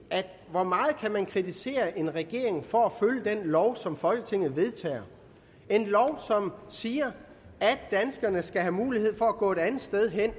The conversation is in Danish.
hvor meget kan man kritisere en regering for at følge den lov som folketinget vedtager en lov som siger at danskerne skal have mulighed for at gå et andet sted hen